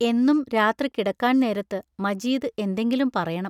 എന്നും രാത്രി കിടക്കാൻ നേരത്ത് മജീദ് എന്തെങ്കിലും പറയണം.